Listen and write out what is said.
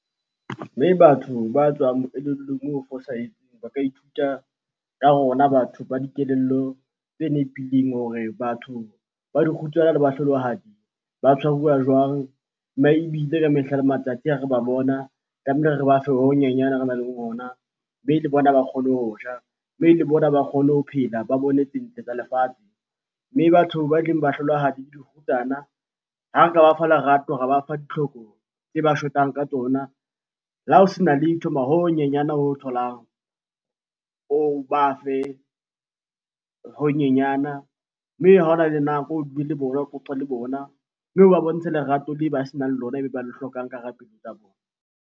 Mme batho ba tswang moelellong moo ba ka ithuta ka rona batho ba dikelello tse nepileng hore batho ba dikgutsana le bahlolohadi ba tshwaruwa jwang? Ebile ka mehla le matsatsi ha re ba bona tlamehile re ba fe ho honyenyana re nang le ona. Mme le bona ba kgone ho ja, mme le bona ba kgone ho phela, ba bone tse ntle tsa lefatshe. Mme batho ba eleng bahlolohadi le dikgutsana, ha nka ba fa lerato, ra ba fa ditlhoko tse ba shotang ka tsona. Le ha ho sena letho, ho honyenyane ho o tholang, o ba fe ho honyenyana. Mme ha hona le nako, o le bona, o qoqe le bona. Mme oba bontshe lerato le ba senang lona ba le hlokang ka hara pelo tsa bona.